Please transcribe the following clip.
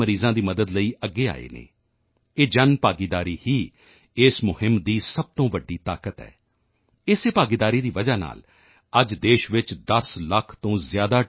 ਮਰੀਜ਼ਾਂ ਦੀ ਮਦਦ ਲਈ ਅੱਗੇ ਆਏ ਹਨ ਇਹ ਜਨਭਾਗੀਦਾਰੀ ਹੀ ਇਸ ਮੁਹਿੰਮ ਦੀ ਸਭ ਤੋਂ ਵੱਡੀ ਤਾਕਤ ਹੈ ਇਸੇ ਭਾਗੀਦਾਰੀ ਦੀ ਵਜ੍ਹਾ ਨਾਲ ਅੱਜ ਦੇਸ਼ ਵਿੱਚ 10 ਲੱਖ ਤੋਂ ਜ਼ਿਆਦਾ ਟੀ